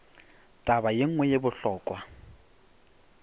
taba ye nngwe ye bohlokwa